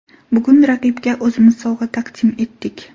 Bugun raqibga o‘zimiz sovg‘a taqdim etdik.